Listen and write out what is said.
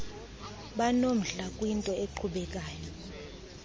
banomdla kwinto eqhubekayo